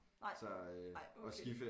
Nej nej okay